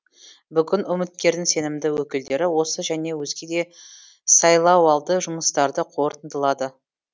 бүгін үміткердің сенімді өкілдері осы және өзге де сайлауалды жұмыстарды қорытындылады